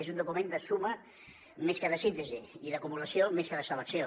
és un document de suma més que de síntesi i d’acumulació més que de selecció